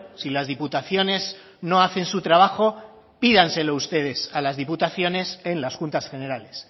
si las diputaciones no hacen su trabajo pídanselo ustedes a las diputaciones en las juntas generales